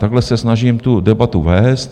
Takhle se snažím tu debatu vést.